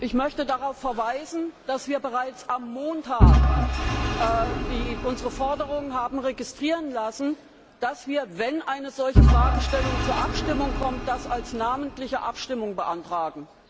Ich möchte darauf verweisen, dass wir bereits am Montag unsere Forderung haben registrieren lassen, dass wir, wenn eine solche Fragestellung zur Abstimmung kommt, das als namentliche Abstimmung beantragen.